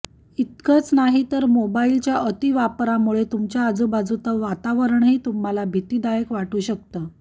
इतकंच नाही तर मोबाईलच्या अतिवापरामुळे तुमच्या आजूबाजूचं वातावरणही तुम्हाला भीतीदायक वाटू शकतं